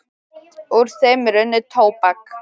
Úr þeim er unnið tóbak.